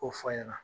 K'o fɔ a ɲɛna